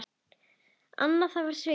En það var svikið.